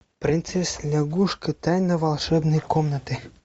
принцесса лягушка тайна волшебной комнаты